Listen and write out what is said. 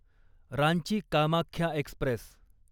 Ranchi Kamakhya Express